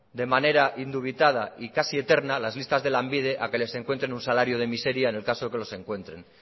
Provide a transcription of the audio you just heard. de manera indubitada y casi eterna las listas de lanbide a que les encuentre un salario de miseria en el caso que los encuentren